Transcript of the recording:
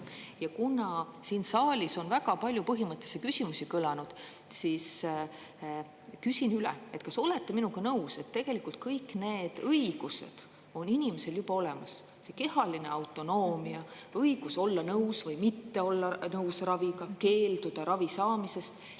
Ja kuna siin saalis on väga palju põhimõttelisi küsimusi kõlanud, siis küsin üle, et kas olete minuga nõus, et tegelikult kõik need õigused on inimesel juba olemas: see kehaline autonoomia, õigus olla nõus või mitte olla nõus raviga, keelduda ravi saamisest.